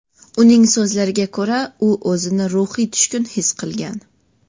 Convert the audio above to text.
Uning so‘zlariga ko‘ra, u o‘zini ruhiy tushkun his qilgan.